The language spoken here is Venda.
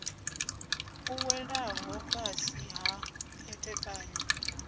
u welaho fhasi ha khethekanyo